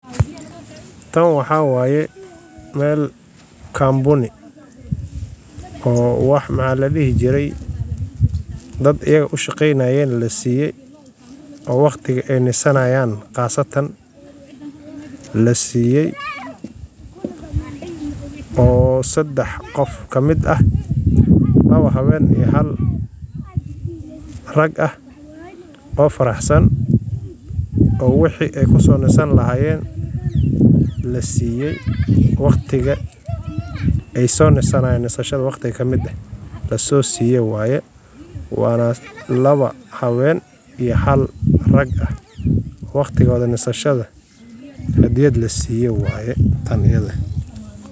Tan waxawaye meel company o wax maxa ladihijiray dad iyaga u shaqeynayen lasiiyay o waqtiga ay nasanyan khasatan lasiyay o sadax qof ka mid ah laba haweyn iyo hal rag ah o faraxsan o wixi ay kuso nasan lahayen lasiyay waqtiga ay so nasanayen waqti ka mid eh lasosiyay waye wana laba haweyn iyo hal rag ah waqtigooda nasashada hadiyad lasiyay waya tan iyada eh.